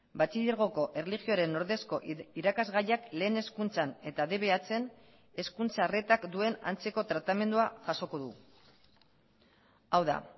batxilergoko erlijioaren ordezko irakasgaiak lehen hezkuntzan eta dbhn hezkuntza arretak duen antzeko tratamendua jasoko du hau da